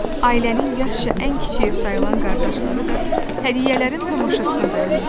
Ailənin yaşca ən kiçiyi sayılan qardaşları da hədiyyələrin tamaşasına dayanırdı.